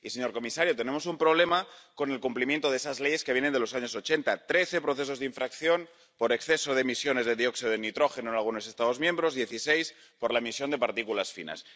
Y, señor comisario, tenemos un problema con el cumplimiento de esas leyes que viene de los años ochenta trece procesos de infracción por exceso de emisiones de dióxido de nitrógeno en algunos Estados miembros dieciséis, por la emisión de partículas finas.